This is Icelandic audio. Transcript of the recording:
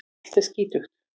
Allt er skítugt.